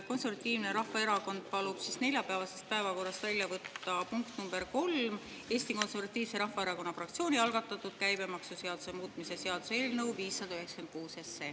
Konservatiivne Rahvaerakond palub neljapäevasest päevakorrast välja võtta punkti nr 3: Eesti Konservatiivse Rahvaerakonna fraktsiooni algatatud käibemaksuseaduse muutmise seaduse eelnõu 596.